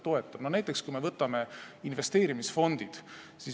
Näiteks võtame investeerimisfondid.